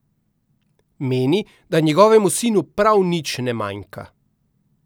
Meni, da njegovemu sinu prav nič ne manjka.